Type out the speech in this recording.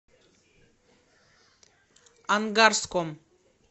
ангарском